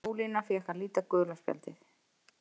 Ólína fékk að líta gula spjaldið.